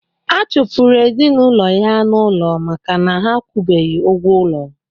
A chụpụrụ ezinụlọ ya n'ụlọ maka na ha akwụbeghi ụgwọ ụlọ